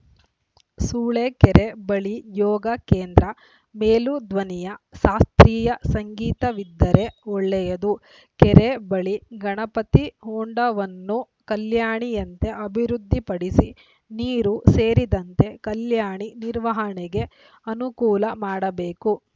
ಸೂಳೆಕೆರೆ ಬಳಿ ಯೋಗ ಕೇಂದ್ರ ಮೇಲುಧ್ವನಿಯ ಶಾಸ್ತ್ರೀಯ ಸಂಗೀತವಿದ್ದರೆ ಒಳ್ಳೆಯದು ಕೆರೆ ಬಳಿ ಗಣಪತಿ ಹೊಂಡವನ್ನು ಕಲ್ಯಾಣಿಯಂತೆ ಅಭಿವೃದ್ಧಿಪಡಿಸಿ ನೀರು ಸೇರಿದಂತೆ ಕಲ್ಯಾಣಿ ನಿರ್ವಹಣೆಗೆ ಅನುಕೂಲ ಮಾಡಬೇಕು